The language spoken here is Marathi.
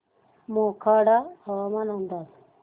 मोखाडा हवामान अंदाज